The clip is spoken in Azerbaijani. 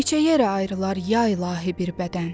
Neçə yerə ayrılar ya ilahi bir bədən.